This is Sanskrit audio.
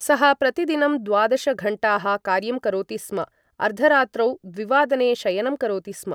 सः प्रतिदिनं द्वादश घण्टाः कार्यं करोति स्म, अर्धरात्रौ द्विवादने शयनं करोति स्म।